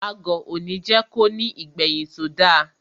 Agọ̀ òní jẹ́ ko ní ìgbẹ̀yìn tó da.